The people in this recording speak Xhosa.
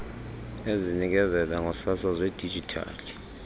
ezinikezela ngosasazo lwedijithali